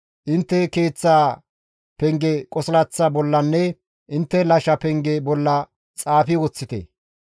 Intte keeththa penge qosilaththa bollanne intte gibbe penge bolla xaafi woththite.